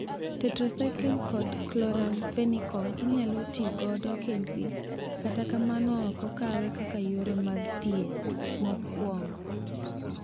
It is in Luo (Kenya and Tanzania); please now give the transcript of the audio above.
"Tetracycline kod Chloramfenicol inyalotigodo kendgi, kata kamano ok okawe kaka yore mag thieth mokuongo."